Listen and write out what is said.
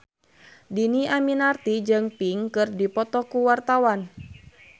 Dhini Aminarti jeung Pink keur dipoto ku wartawan